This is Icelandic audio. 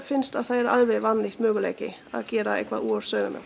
finnst þetta vannýttur möguleiki að gera eitthvað úr sauðamjólk